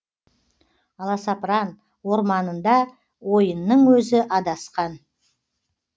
аласапран орманында ойының өзі адасқан